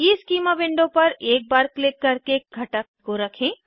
schema window पर एक बार क्लिक करके घटक को रखें